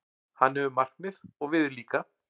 Hann hefur markmið, og við líka.